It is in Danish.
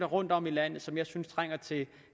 rundtom i landet som jeg synes trænger til